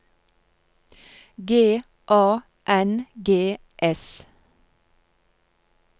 G A N G S